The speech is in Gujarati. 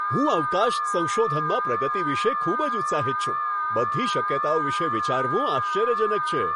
હું અવકાશ સંશોધનમાં પ્રગતિ વિશે ખૂબ જ ઉત્સાહિત છું! બધી શક્યતાઓ વિશે વિચારવું આશ્ચર્યજનક છે.